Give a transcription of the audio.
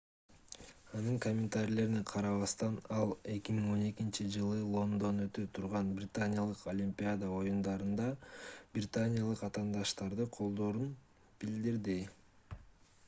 анын комментарийлерине карабастан ал 2012-жылы лондондо өтө турган британиялык олимпиада оюндарында британиялык атаандаштарды колдоорун билдирди